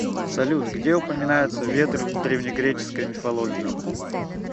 салют где упоминается ветры в древнегреческой мифологии